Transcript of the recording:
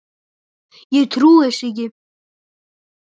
Ég trúi þessu ekki!